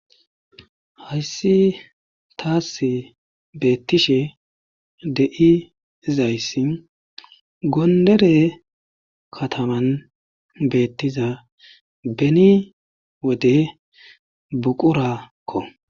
Hayssi taassi beettishe de7izayssi gondere kataman beettiza beni wode buquraakko.